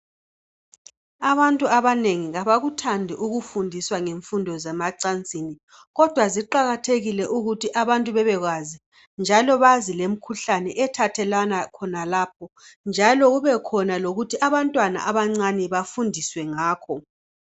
Abantu abanengi abakuthandi ukufundiswa ngemfundo zemacansini kodwa ziqakathekile ukuthi abantu bebekwazi njalo bazi lrmkhuhlane ethathelwana khonalapho njalo kube khona lokuthi abantwana abancane bafundiswe ngakho